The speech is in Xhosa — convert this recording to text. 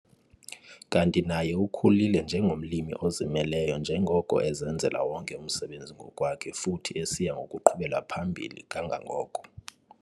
Kanti naye ukhulile njengomlimi ozimeleyo njengoko ezenzela wonke umsebenzi ngokwakhe futhi esiya ngokuqhubela phambili kangangoko.